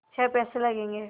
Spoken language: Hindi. छः पैसे लगेंगे